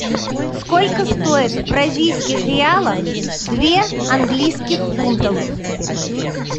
сколько стоит в бразильских реалах две английских фунтов